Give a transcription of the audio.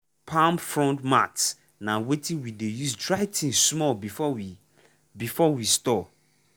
palm frond mat na wetin we dey use dry things small before we before we store.